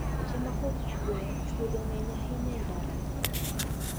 Seche makoth chwe chwodho ng`eny ahinya e ndarano.